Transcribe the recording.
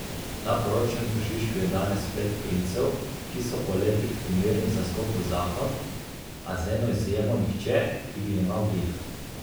Na poročnem tržišču je danes pet princev, ki so po letih primerni za skok v zakon, a z eno izjemo nihče, ki bi jemal dih.